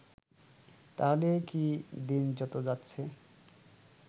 তাহলে কি দিন যত যাচ্ছে